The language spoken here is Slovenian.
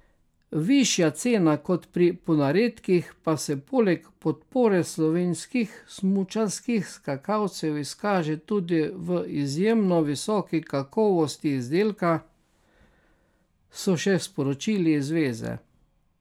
Višja cena kot pri ponaredkih pa se poleg podpore slovenskih smučarskih skakalcev izkaže tudi v izjemno visoki kakovosti izdelka, so še sporočili iz zveze.